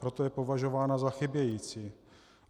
Proto je považována za chybějící.